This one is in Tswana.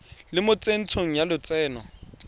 le mo tsentsho ya lotseno